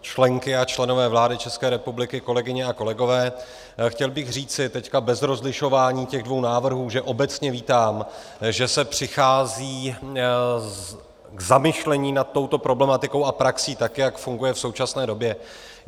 členky a členové vlády České republiky, kolegyně a kolegové, chtěl bych říci teď bez rozlišování těch dvou návrhů, že obecně vítám, že se přichází k zamyšlení nad touto problematikou a praxí, tak jak funguje v současné době.